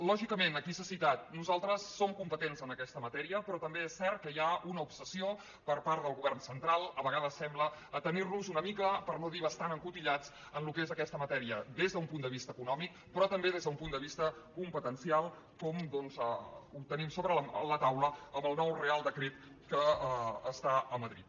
lògicament aquí s’ha citat nosaltres som competents en aquesta matèria però també és cert que hi ha una obsessió per part del govern central a vegades sembla a tenir nos una mica per no dir bastant encotillats en el que és aquesta matèria des d’un punt de vista econòmic però també des d’un punt de vista competencial com doncs tenim sobre la taula amb el nou reial decret que està a madrid